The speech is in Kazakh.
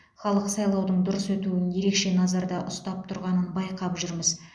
халық сайлаудың дұрыс өтуін ерекше назарда ұстап тұрғанын байқап жүрміз